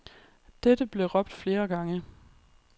Dette blev råbt flere gange.